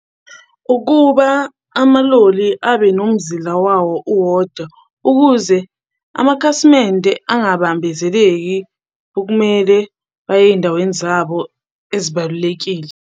Ukuba amaloli abe nomzila wawo uwodwa ukuze amakhasimende angabambezeleki okumele baye ey'ndaweni zabo ezibalulekile.